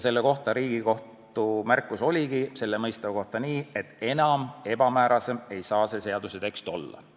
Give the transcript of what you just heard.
Selle kohta oligi Riigikohtu märkus, et enam ebamäärasem ei saa seaduse tekst olla.